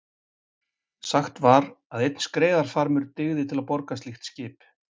Sagt var að einn skreiðarfarmur dygði til að borga slíkt skip.